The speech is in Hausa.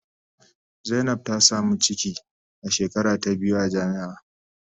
Zainab ta samu ciki a shekara ta biyu a jami'a.